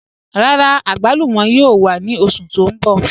Rárá, agbàlùmọ̀ yóò wà ni oṣù tó n bọ̀.